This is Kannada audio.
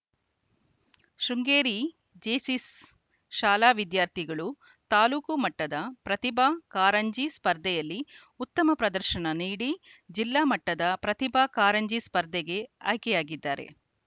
ಶೃಂಗೇರಿ ಜೇಸಿಸ್‌ ಶಾಲಾ ವಿದ್ಯಾರ್ಥಿಗಳು ತಾಲೂಕು ಮಟ್ಟದ ಪ್ರತಿಭಾ ಕಾರಂಜಿ ಸ್ಪರ್ಧೆಯಲ್ಲಿ ಉತ್ತಮ ಪ್ರದರ್ಶನ ನೀಡಿ ಜಿಲ್ಲಾ ಮಟ್ಟದ ಪ್ರತಿಭಾ ಕಾರಂಜಿ ಸ್ಪರ್ಧೆಗೆ ಆಯ್ಕೆಯಾಗಿದ್ದಾರೆ